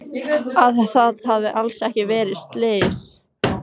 Að það hafi alls ekki verið slys.